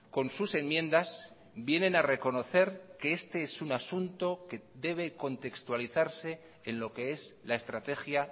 con sus enmiendas vienen a reconocer que este es un asunto que debe contextualizarse en lo que es la estrategia